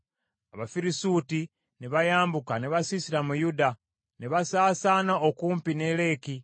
Abafirisuuti ne bayambuka ne basiisira mu Yuda, ne basaasaana okumpi ne Leki.